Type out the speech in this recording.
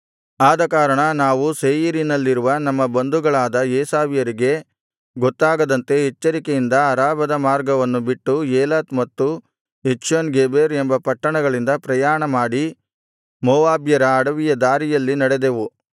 ಆದಕಾರಣ ನಾವು ಸೇಯೀರಿನಲ್ಲಿರುವ ನಮ್ಮ ಬಂಧುಗಳಾದ ಏಸಾವ್ಯರಿಗೆ ಗೊತ್ತಾಗದಂತೆ ಎಚ್ಚರಿಕೆಯಿಂದ ಅರಾಬದ ಮಾರ್ಗವನ್ನು ಬಿಟ್ಟು ಏಲತ್ ಮತ್ತು ಎಚ್ಯೋನ್ ಗೆಬೆರ್ ಎಂಬ ಪಟ್ಟಣಗಳಿಂದ ಪ್ರಯಾಣಮಾಡಿ ಮೋವಾಬ್ಯರ ಅಡವಿಯ ದಾರಿಯಲ್ಲಿ ನಡೆದೆವು